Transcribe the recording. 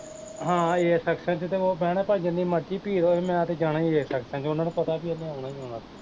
ਹਾਂ A section ਚ ਤੇ ਬਹਿਣਾ, ਭਾਵਾ ਜਿੰਨੀ ਮਰਜ਼ੀ ਭੀੜ ਹੋਏ ਮੈਂ ਤੇ ਜਾਣਾ ਈ A section ਚ, ਓਹਨਾ ਨੂੰ ਪਤਾ ਈ ਇਹਨੇ ਆਉਣਾ ਈ ਆਉਣਾ